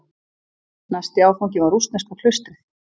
Næsti áfangi var rússneska klaustrið.